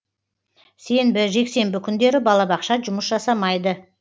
сенбі жексенбі күндері балабақша жұмыс жасамайды